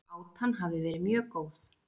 Átan hafi verið mjög góð